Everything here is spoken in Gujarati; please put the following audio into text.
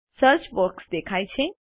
સર્ચ બોક્સ દેખાય છે